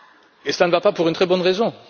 Et cela ne va pas pour une très bonne raison.